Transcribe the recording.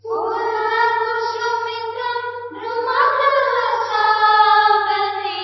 फुल्लकुसुमितद्रुमदलशोभिनीं